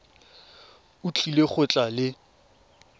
o tlile go tla le